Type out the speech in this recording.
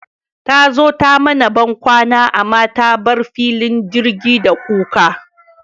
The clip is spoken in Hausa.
Tazo ta mana bankwana amma ta bar filin jirgi da kuka